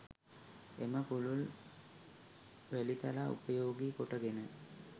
එම පුළුල් වැලිතලා උපයෝගී කොටගෙන